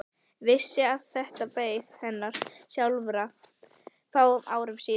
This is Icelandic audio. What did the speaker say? Vissi að þetta beið hennar sjálfrar fáum árum síðar.